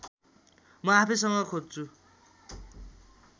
म आफैसँग खोज्छु